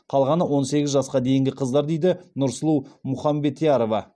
қалғаны он сегіз жасқа дейінгі қыздар дейді нұрсұлу мұхамбетярова